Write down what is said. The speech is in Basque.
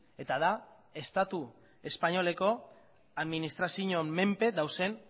eta da estatu espainoleko administrazioen menpe dauden